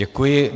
Děkuji.